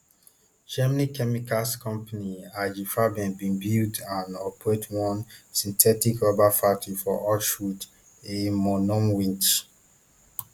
german chemicals company ig farben bin build and operate one synthetic rubber factory for auschwitz iiimonowitz